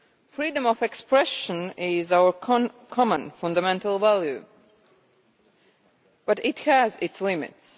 Freedom of expression is our common fundamental value but it has its limits.